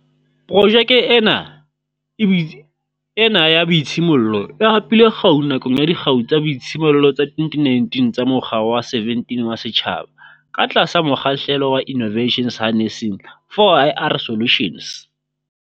Projeke ena e ena ya boitshimollelo e hapile kgau nakong ya Dikgau tsa Boitshimollelo tsa 2019 tsa Mokga wa 17 wa Setjhaba, ka tlasa mokgahlelo wa Innova tions Harnessing 4IR Solutions.